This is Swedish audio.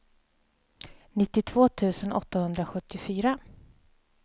nittiotvå tusen åttahundrasjuttiofyra